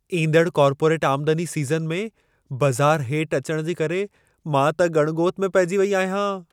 ईंदड़ कॉर्पोरेट आमदनी सीज़न में, बज़ार हेठि अचण जे करे मां त ॻण ॻोत में पहिजी वेई आहियां।